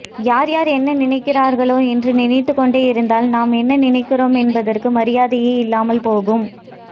யார் என்ன நினைக்கிறார்களோ என்று நினைத்து கொண்டே இருந்தால் நாம் என்ன நினைக்கிறோம் என்பதற்கு மரியாதையே இல்லாமல் போகும்